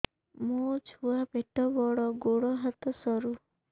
ମୋ ଛୁଆ ପେଟ ବଡ଼ ଗୋଡ଼ ହାତ ସରୁ